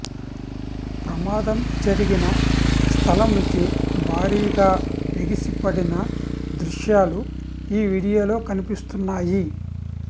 ప్రమాదం జరిగిన స్థలం నుంచి భారీగా ఎగిసి పడిన దృశ్యాలు ఈ వీడియోలో కనిపిస్తున్నాయి